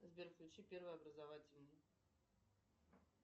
сбер включи первый образовательный